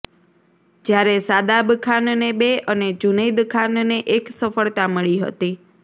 જ્યારે શાદાબ ખાનને બે અને જૂનૈદ ખાનને એક સફળતા મળી હતી